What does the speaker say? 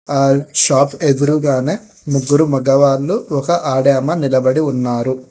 All shop ఎదురుగానే ముగ్గురు మగవాళ్లు ఒక ఆడామ నిలబడి ఉన్నారు.